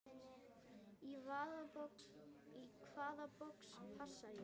Í hvaða box passa ég?